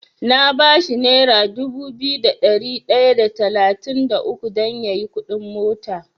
Na bashi nera dubu biyu da ɗari ɗaya da talatin da uku dan yayi kuɗin mota.